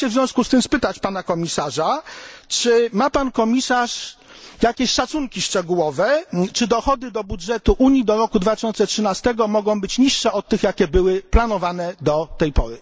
Chciałbym się w związku z tym spytać pana komisarza, czy ma pan komisarz jakieś szacunki szczegółowe, czy dochody do budżetu Unii do roku 2013 mogą być niższe od tych, jakie były planowane do tej pory.